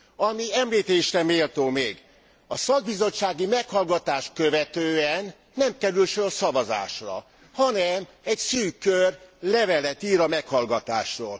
Ami említésre méltó még a szakbizottsági meghallgatást követően nem kerül sor szavazásra, hanem egy szűk kör levelet ír a meghallgatásról.